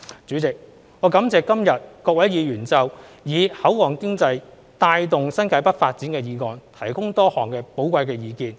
主席，我感謝今日各位議員就"以口岸經濟帶動新界北發展"的議案提供多項寶貴的意見。